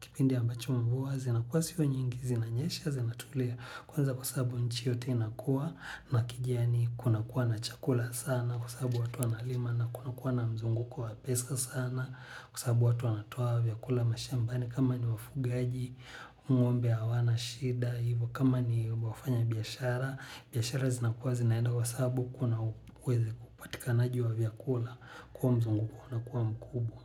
Kipindi ambacho mvua zinakuwa siku nyingi zinanyesha zinatulia kwanza kwa sababu nchi yote inakuwa na kijiani kuna kuwa na chakula sana kwa sababu watu wanalima na kuna kuwa na mzunguko wa pesa sana kwa sababu watu wanatoa vya kula mashambani kama ni wafugaji, ng"ombe hawana, shida, hivyo kama ni wafanyabiashara. Biashara zinakuwa zinaenda kwa sababu kuna uwezo kupatikanaji wa vyakula kuwa mzunguko una kuwa mkubwa.